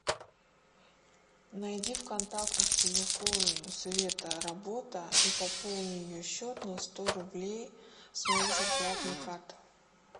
найди в контактах телефон света работа и пополни ее счет на сто рублей с моей зарплатной карты